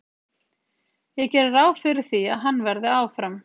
Ég geri ráð fyrir því að hann verði áfram.